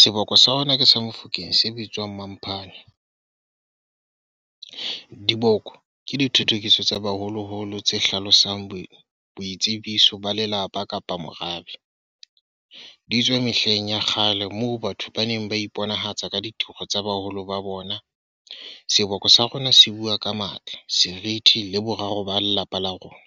Seboko sa rona ke sa Mofokeng, se bitswang . Diboko ke dithothokiso tsa baholoholo tse hlalosang bo boitsebiso ba lelapa kapa morabe Di tswe mehleng ya kgale moo batho ba neng ba iponahatsa ka ditoro tsa baholo ba bona. Seboko sa rona se bua ka matla, serithi le boraro ba lelapa la rona.